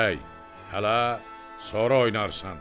"Bəy, hələ sonra oynarsan.